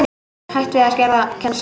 Hætt við að skerða kennslu